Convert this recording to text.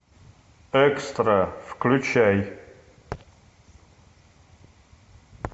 экстра включай